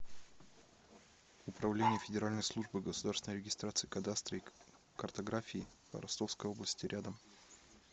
управление федеральной службы государственной регистрации кадастра и картографии по ростовской области рядом